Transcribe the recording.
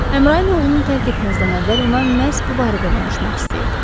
Əmrayin oğlunu tərk etməzdən əvvəl ona məhz bu barədə danışmaq istəyirdi.